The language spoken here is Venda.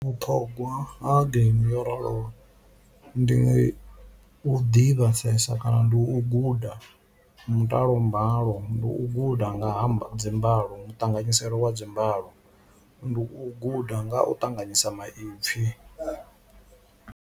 Vhuṱhongwa ha geimi yo raloho ndi u ḓivhesesa kana ndi u guda mutalo mbalo, ndi u guda nga ha dzi mbalo muṱanganyiselo wa dzi mbalo ndi u guda nga u ṱanganyisa maipfhi.